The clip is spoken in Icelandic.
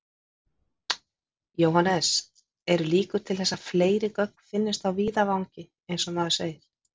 Jóhannes: Eru líkur til þess að fleiri gögn finnist á víðavangi eins og maður segir?